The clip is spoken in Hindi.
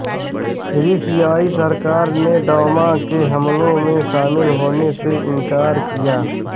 सीरियाई सरकार ने डौमा के हमलों में शामिल होने से इनकार किया